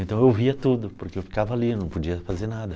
Então eu via tudo, porque eu ficava ali, não podia fazer nada.